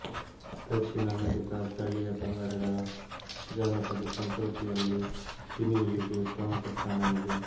ದಕ್ಷಿಣ America ಸ್ಥಳೀಯ ಪಂಗಡಗಳ ಜಾನಪದ ಸಂಸ್ಕೃತಿಯಲ್ಲಿ ಗಿನಿಯಿಲಿಗೆ ಪ್ರಮುಖ ಸ್ಥಾನವಿದೆ